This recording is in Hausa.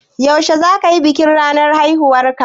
Yaushe zaka yi bikin ranar haihuwarka?